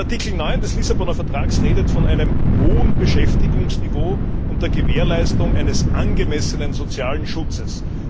Artikel 9 des Lissabonner Vertrags redet von einem hohen Beschäftigungsniveau unter Gewährleistung eines angemessenen sozialen Schutzes.